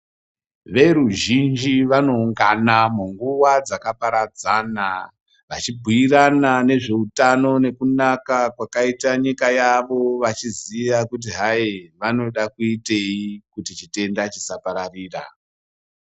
Veruzhinji vanoungana munguwa dzakaparadzana, vachibhuirana nezveutano nekunaka kwakaita nyika yavo, vachiziya kuti hai vanoda kuitei kuti chitenda chisapararira.